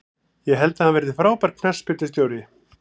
Ég held að hann verði frábær knattspyrnustjóri.